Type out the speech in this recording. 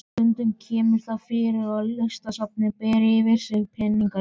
Stundum kemur það fyrir að Listasafnið ber fyrir sig peningaleysi.